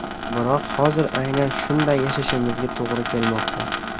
Biroq hozir aynan shunday yashashimizga to‘g‘ri kelmoqda.